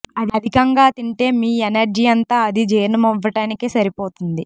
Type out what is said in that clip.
అధికంగా తింటే మీ ఎనర్జీ అంతా అది జీర్ణం అవ్వటానికే సరిపోతుంది